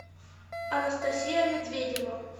анастасия медведева